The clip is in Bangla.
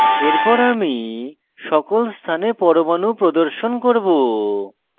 এরপর আমি সকল স্থানে পরমাণু প্রদর্শন করব